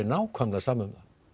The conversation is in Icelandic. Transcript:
nákvæmlega sama